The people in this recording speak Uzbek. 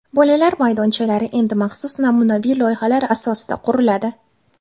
Bolalar maydonchalari endi maxsus namunaviy loyihalar asosida quriladi.